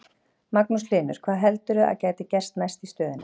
Magnús Hlynur: Hvað heldurðu að gæti gerst næst í stöðunni?